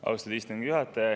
Austatud istungi juhataja!